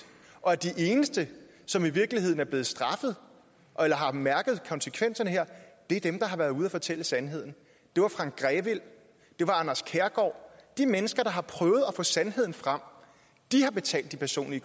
og at de eneste som i virkeligheden er blevet straffet eller har mærket konsekvenserne her er dem der har været ude at fortælle sandheden det var frank grevil det var anders kærgaard de mennesker der har prøvet at få sandheden frem har betalt de personlige